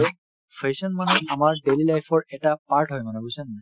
fashion মানে আমাৰ daily life ৰ এটা part হয় মানে বুজিছানে নাই